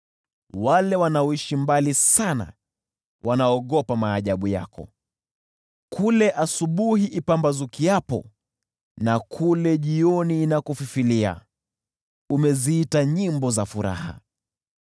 Wale wanaoishi mbali sana wanaogopa maajabu yako, kule asubuhi ipambazukiapo na kule jioni inakofifilia umeziita nyimbo za furaha.